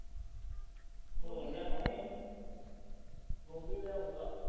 ਹੋਰ ਲਿਆਵਾਂ ਫੇਰ ਗੋਭੀ ਲੈ ਆਊਗਾ